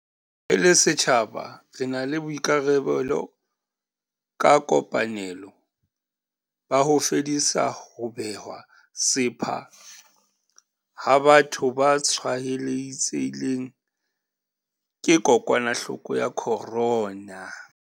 Re le setjhaba re na le boikarabelo ka kopanelo, ba ho fedisa ho bewa sepha ha batho ba tshwaetsehileng ke kokwanahloko ya corona.